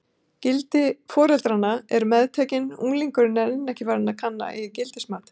Gildi foreldranna eru meðtekin, unglingurinn er enn ekki farinn að kanna eigin gildismat.